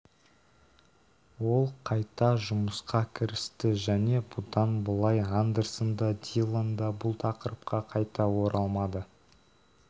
ол қайта жұмысқа кірісті және бұдан былай андерсон да диллон да бұл тақырыпқа қайта оралмады